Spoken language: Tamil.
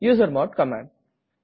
usermod command